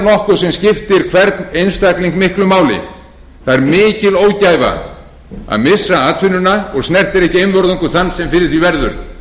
nokkuð sem skiptir hvern einstakling miklu máli það er mikil ógæfa að missa atvinnuna og snertir ekki einvörðungu þann sem fyrir því verður